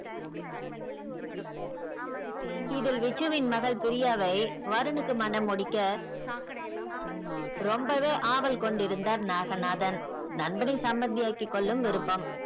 இதில் விச்சுவின் மகள் பிரியாவை வருணுக்கு மணம் முடிக்க ரொம்பவே ஆவல் கொண்டிருந்தார் நாகநாதன் நண்பனை சமந்தி ஆக்கிகொள்ளும் விருப்பம்.